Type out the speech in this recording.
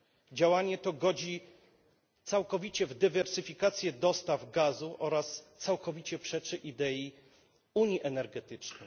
Działanie to godzi całkowicie w dywersyfikację dostaw gazu oraz całkowicie przeczy idei unii energetycznej.